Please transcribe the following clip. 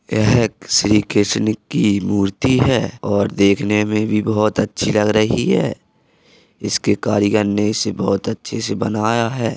यह श्री कृशन की मूर्ति है और देखने में भी बोहत अच्छी लग रही है | इसके कारीगर ने इसे बहुत अच्छे से बनाया है ।